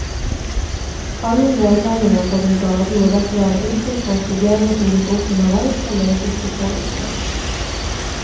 Alle medlemmene på brigaden må derfor være innstilt på at problemer som dukker opp underveis skal løses i fellesskap.